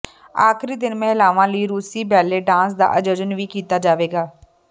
ਆਖਰੀ ਦਿਨ ਮਹਿਲਾਵਾਂ ਲਈ ਰੂਸੀ ਬੈਲੇ ਡਾਂਸ ਦਾ ਆਯੋਜਨ ਵੀ ਕੀਤਾ ਜਾਵੇਗਾ